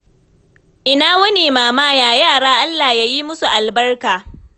Ina wuni mama? Yaya yara? Allah ya yi musu albarka.